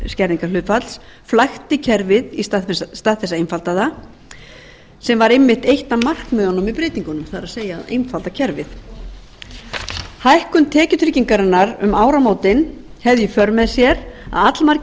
skerðingarhlutfalls flækti kerfið í stað þess að einfalda það sem var einmitt eitt af markmiðunum með breytingunum það er að einfalda kerfið hækkun tekjutryggingarinnar um áramótin hefði í för með sér með að allmargir